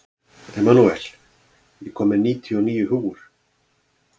Emanúel, ég kom með níutíu og níu húfur!